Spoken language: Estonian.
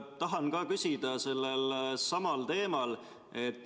Tahan ka küsida sellel samal teemal.